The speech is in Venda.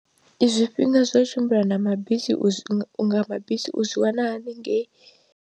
Zwifhinga zwa u tshimbila na mabisi u zwi nga mabisi u zwi wana haningei.